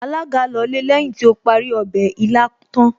Alága lọlé lẹ́yìn tí ó parí ọbẹ̀ ilá tán